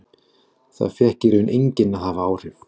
Það fékk í raun enginn að hafa áhrif.